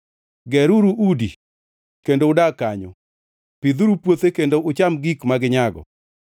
“Geruru udi kendo udag kanyo; pidhuru puothe kendo ucham gik ma ginyago.